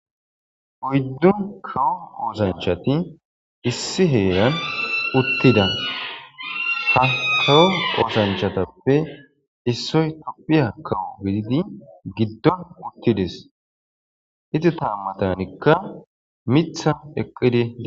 Oyddu kawo oosanchati Issi heran uutida hankko oosanchchatappe issoy Tophphiya kawoye giddon uttides. Izata matanikka miththay eqqidi bettes.